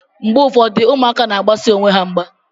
Mgbe ụfọdụ, ụmụaka na-agbasi onwe ha mgba.